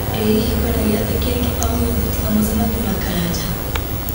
ĩ hihi kwĩna gĩathĩ kĩngĩ o gĩothe tiga mũcemanio na karanja